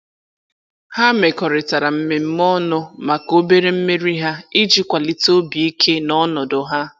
Ha mekọrịtara mmemme ọnụ maka obere mmeri ha iji kwalite obi ike na ọnọdụ ha.